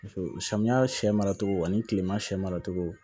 samiya sɛ mara togo ani kilema sɛ mara cogo